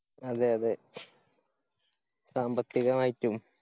അതെ അതെ സാമ്പത്തികമായിറ്റും.